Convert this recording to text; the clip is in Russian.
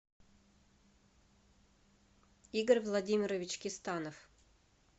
игорь владимирович кистанов